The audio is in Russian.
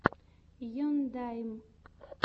ендайм